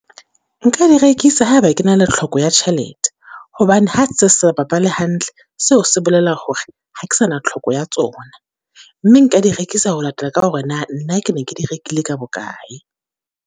Nka di rekisa ha eba ke na le tlhoko ya tjhelete. Hobane ha se re sa bapale hantle, seo se bolela hore ha ke sa na tlhoko ya tsona. Mme nka di rekisa ho latela ka hore na, nna ke ne ke di rekile ka bokae?